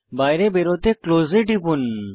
বাইরে বেরোতে ক্লোজ এ টিপুন